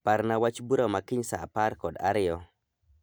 Parna wach bura wach bura ma kiny saa apar kod ariyo